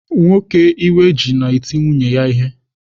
Nwoke iwe ji na-eti nwunye ya ihe.